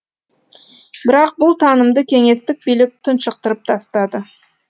бірақ бұл танымды кеңестік билік тұншықтырып тастады